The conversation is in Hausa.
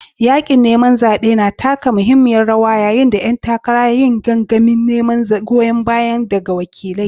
Yaƙin neman zaɓe na taka muhimmiyar rawa yayin da ƴan takara ke yin gangamin neman goyon baya daga wakilai.